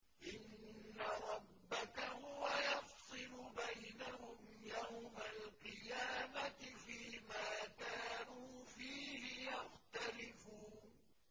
إِنَّ رَبَّكَ هُوَ يَفْصِلُ بَيْنَهُمْ يَوْمَ الْقِيَامَةِ فِيمَا كَانُوا فِيهِ يَخْتَلِفُونَ